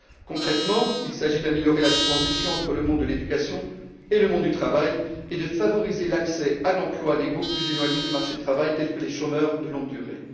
Concrètement, il s'agit d'améliorer la transition entre le monde de l'éducation et le monde du travail et de favoriser l'accès à l'emploi des groupes plus éloignés du marché du travail, tels que les chômeurs de longue durée.